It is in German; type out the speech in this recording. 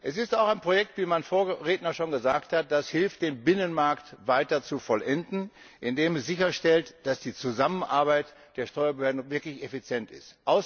Es ist auch ein Projekt, wie mein Vorredner schon gesagt hat, das hilft, den Binnenmarkt weiter zu vollenden, indem es sicherstellt, dass die Zusammenarbeit der Steuerbehörden wirklich effizient ist.